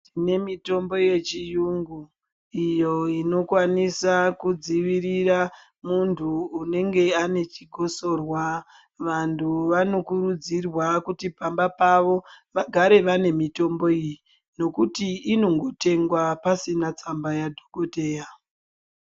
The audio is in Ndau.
Tine mitombo yechiyungu iyo ino kwanisa kudzivirira mundu unenge ane chikosorwa vandu vano kurudzirwa kuti pamba pavo vagare vane mitombo iyi nokuti inongo tengwa pasina tsamba ya dhokoteya.